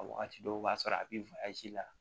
A wagati dɔw b'a sɔrɔ a bi la